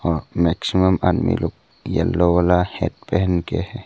Maximum आदमी लोग yellow वाला हैट पहन के हैं।